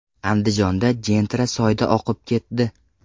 Andijonda Gentra soyda oqib ketdi.